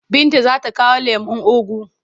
Binta za ta kawo lemon ugu.